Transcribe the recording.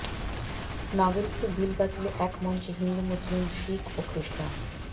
নাগরিকত্ব বিল বাতিলে এক মঞ্চে হিন্দু মুসলিম শিখ ও খ্রিষ্টান